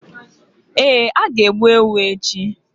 Ee, a ga-egbu ewu echi.